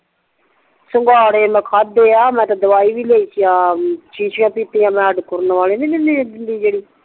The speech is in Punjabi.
ਸਿੰਗਾੜੇ ਮੈਂ ਖਾਦੇ ਆ ਮੈਂ ਤੇ ਦਵਾਈ ਵੀ ਲਈ ਆ ਸ਼ੀਸ਼ੀਆ ਪੀਤੀਆ ਆ ਮੈਂ ਦਿਵਾਈ ਨਹੀਂ ਦਿੰਦੇ ਜੇਡੀ ਖੁਰਨ ਵਾਲੀ